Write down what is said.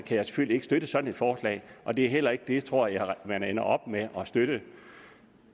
jeg selvfølgelig ikke støtte sådan et forslag og det er heller ikke et tror jeg man ender op med at støtte